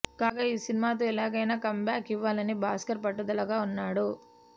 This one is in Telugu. కాగా ఈ సినిమాతో ఎలాగైనా కమ్బ్యాక్ ఇవ్వాలని భాస్కర్ పట్టుదలగా ఉన్నాడు